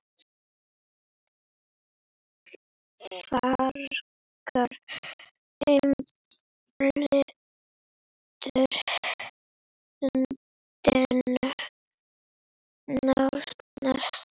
Frakkar umbyltu landinu nánast.